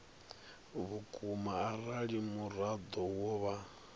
vhukuma arali muraḓo wo vha